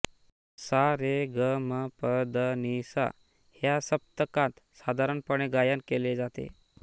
सा रे ग म प ध नी सा ह्या सप्तकात साधारणपणे गायन केले जाते